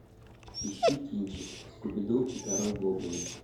ищи кинчик скуби ду и король гоблинов